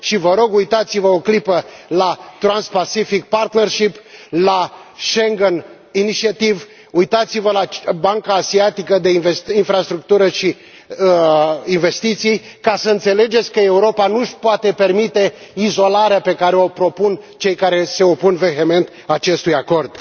Și, vă rog, uitați vă o clipă la Transpacific partnership la Schengen initiative uitați vă la Banca Asiatică de Infrastructură și Investiții, ca să înțelegeți că Europa nu și poate permite izolarea pe care o propun cei care se opun vehement acestui acord.